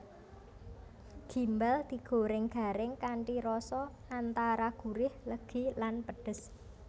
Gimbal digoreng garing kanthi rasa antara gurih legi lan pedhes